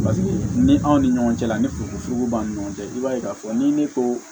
ni anw ni ɲɔgɔn cɛla la ni funteni fogofo b'an ni ɲɔgɔn cɛ i b'a ye k'a fɔ ni ne ko